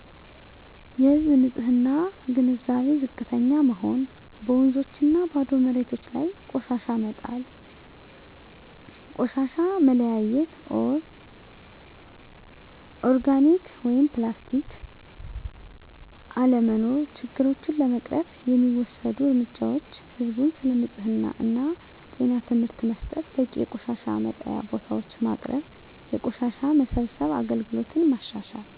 የህዝብ ንፅህና ግንዛቤ ዝቅተኛ መሆን በወንዞችና ባዶ መሬቶች ላይ ቆሻሻ መጣል ቆሻሻ መለያየት (ኦርጋኒክ/ፕላስቲክ) አለመኖር ችግሮቹን ለመቅረፍ የሚወሰዱ እርምጃዎች ህዝብን ስለ ንፅህና እና ጤና ትምህርት መስጠት በቂ የቆሻሻ መጣያ ቦታዎች ማቅረብ የቆሻሻ መሰብሰብ አገልግሎትን ማሻሻል